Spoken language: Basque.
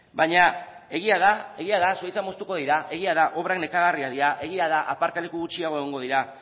baina egia da egia da zuhaitzak moztuko dira egia da obrak nekagarriak dira egia da aparkaleku gutxiago egongo dira